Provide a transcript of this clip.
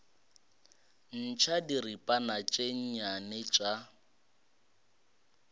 ntšha diripana tše nnyane tša